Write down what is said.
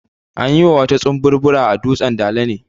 An yi bautar tsumburbura a dutsan dala ne.